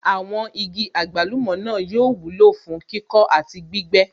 Àwọn igi àgbálùmọ̀ náà yóò wúlò fún kíkọ́ àti gbígbẹ́